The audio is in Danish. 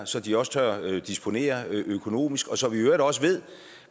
så de også tør disponere økonomisk og så vi i øvrigt også ved